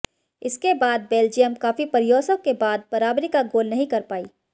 इसके बाद बेल्जियम काफी प्रयासों के बाद बराबरी का गोल नहीं कर पाई